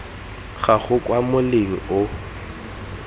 ga gago kwa moleng o